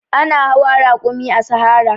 Ana hawa rakumi a sahara.